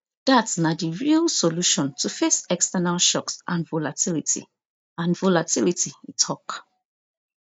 dat na di real solution to face external shocks and volatility and volatility e tok